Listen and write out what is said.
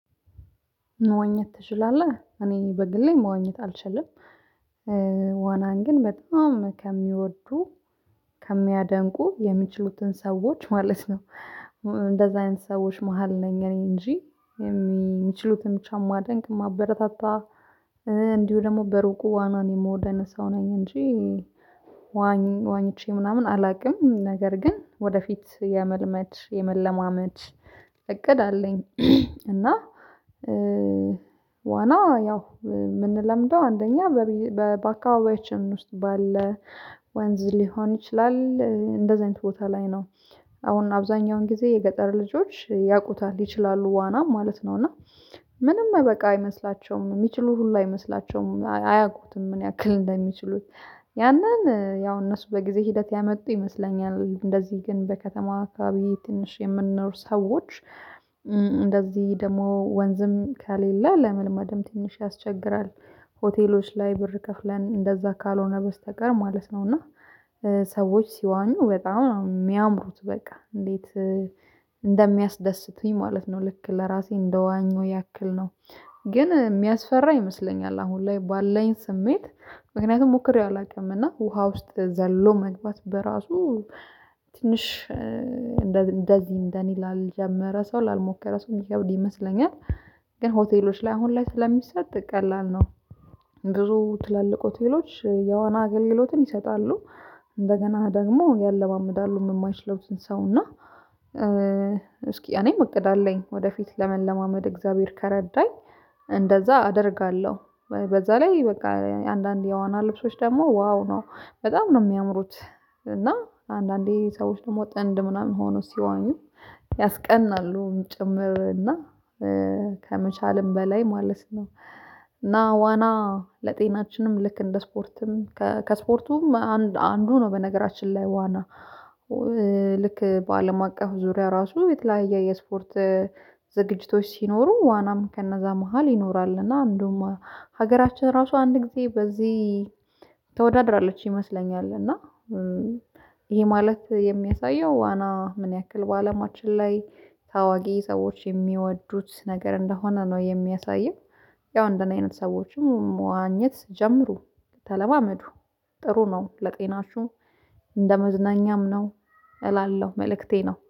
መዋኘት ትችላለህ? እኔ በግሌ መዋኘት አልችልም። ዋናን ግን በጣም ከሚወዱ ከሚያደንቁ የሚችሉትን ሰዎች ማለት ነው። እንደዛ አይነት ሰዎች መሃል ነኝ እኔ እንጂ የሚችሉትን ብቻ ማደንቅ ማበረታታ እንዲሁ ደግሞ በሩቁ ዋናውን የምወደነው ሰው ነኝ እንጂ ዋኝ ዋኝቼ ምናምን አላውቅም ነገር ግን ወደፊት የመልመድ የመለማመድ እቅድ አለኝ እና ዋና ያው የምንለምደው አንደኛ በባካባቢያችን ውስጥ ባለ ወንዝ ሊሆን ይችላል እንደዚህ አይነት ቦታ ላይ ነው። አሁን አብዛኛውን ጊዜ የገጠር ልጆች ያውቁታል ይችላሉ ዋና ማለት ነው። እና ምንም በቃ አይመስላቸውም የሚችሉ ሁላ አይመስላቸውም አያውቁትም ምን ያክል እንደሚችሉት። ያንን ያው እነሱ በጊዜ ሂደት ያመጡ ይመስለኛል እንደዚህ ግን በከተማ አካባቢ ትንሽ የምንኖር ሰዎች እንደዚህ ደግሞ ወንዝም ከሌለ ለመልመድም ትንሽ ያስቸግራል ሆቴሎች ላይ ብር ከፍለን እንደዛ ካልሆነ በስተቀር ማለት ነውና እና ሰዎች ሲዋኙ በጣም የሚያምሩት በቃ እንዴት እንደሚያስደስቱኝ ማለት ነው ልክ ለራሴ እንደዋኘሁ ያክል ነው። ግን የሚያስፈራ ይመስለኛል አሁን ላይ ባለኝ ስሜት ምክንያቱም ሞክሬ አላውቅም እና ውሃ ውስጥ ዘሎ መግባት በራሱ ትንሽ እንደዚህ እንደኔ ላልጀመረ ሰው ላልሞከረ ሰው ሚከብድ ይመስለኛል። ግን ሆቴሎች ላይ አሁን ላይ ስለሚሰጥ ቀላል ነው። ብዙ ትላልቅ ሆቴሎች የዋና አገልግሎትን ይሰጣሉ እንደገና ደግሞ ያለማምዳሉ የማይችለው ሰው እና እስኪ እኔም እቅድ አለኝ ወደፊት ለመለማመድ እግዚአብሔር ከረዳኝ እንደዛ አደርጋለሁ በዛ ላይ በቃ አንዳንድ የዋና ልብሶች ደግሞ ዋው ነው። በጣም ነው የሚያምሩት እና አንዳንዴ ሰዎች ደግሞ ጥንድ ምናምን ሆኖ ሲዋኙ ያስቀናሉ ጭምር እና ከመቻልም በላይ ማለት ነው። አና ዋና ለጤናችንም ልክ እንደ ስፖርትም ከስፖርቱም አንዱ ነው በነገራችን ላይ ዋና ልክ በአለም አቀፍ ዙሪያ ራሱ የተለያየ የስፖርት ዝግጅቶች ሲኖሩ ዋናም ከነዛ መሃል ይኖራል እና አንዱም ሀገራችን ራሱ አንድ ጊዜ በዚህ ተወዳድራለች ይመስለኛል እና ይሄ ማለት የሚያሳየው ዋና ምን ያክል በአለማችን ላይ ታዋቂ ሰዎች የሚወዱት ነገር እንደሆነ ነው የሚያሳየው። ያው እንደኔ አይነት ሰዎችም መዋኘት ጀምሩ ተለማመዱ። ጥሩ ነው ለጤናሹ ለጤናሽሁ እንደመዝናኛም ነው እላለሁ መልእክቴ ነው።